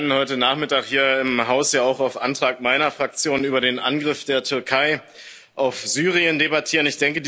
Wir werden heute Nachmittag hier im Haus ja auch auf Antrag meiner Fraktion über den Angriff der Türkei auf Syrien debattieren.